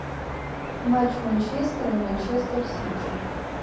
матч манчестера и манчестер сити